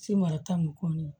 Semara ta ni kɔ ni ye